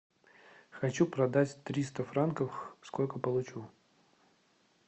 хочу продать триста франков сколько получу